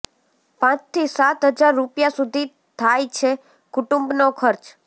પાચ થી સાત હજાર રૂપિયા સુધી થાય છે કુટુંબનો ખર્ચ